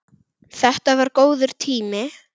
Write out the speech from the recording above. Þetta var góður tími.